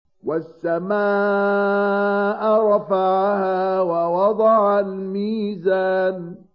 وَالسَّمَاءَ رَفَعَهَا وَوَضَعَ الْمِيزَانَ